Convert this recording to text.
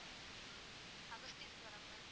Agastheeswaram ma'am